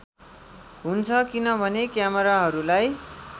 हुन्छ किनभने क्यामेराहरूलाई